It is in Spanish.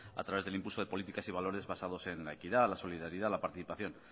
a través del impulso de políticas y valores basados en la equidad en la solidaridad la participación